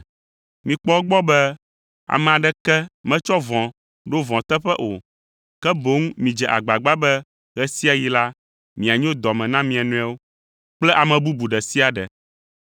Mikpɔ egbɔ be ame aɖeke metsɔ vɔ̃ ɖo vɔ̃ teƒe o, ke boŋ midze agbagba be ɣe sia ɣi la, mianyo dɔ me na mia nɔewo kple ame bubu ɖe sia ɖe.